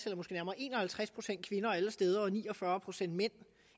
eller måske nærmere en og halvtreds procent kvinder alle steder og ni og fyrre procent mænd